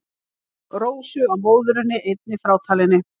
Rósu að móðurinni einni frátalinni.